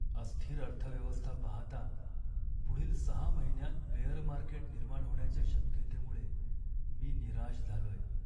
अस्थिर अर्थव्यवस्था पाहता पुढील सहा महिन्यांत बेअर मार्केट निर्माण होण्याच्या शक्यतेमुळे मी निराश झालोय.